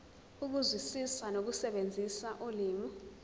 ukuzwisisa nokusebenzisa ulimi